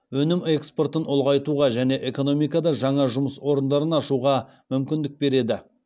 өнім экспортын ұлғайтуға және экономикада жаңа жұмыс орындарын ашуға мүмкіндік береді